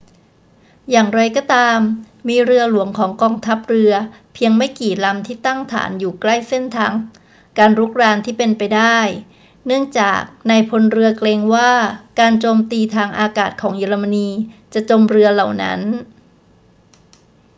อย่างไรก็ตาม มีเรือหลวงของกองทัพเรือเพียงไม่กี่ลำที่ตั้งฐานอยู่ใกล้เส้นทางการรุกรานที่เป็นไปได้ เนื่องจากนายพลเรือเกรงว่าการโจมตีทางอากาศของเยอรมนีจะจมเรือเหล่านั้น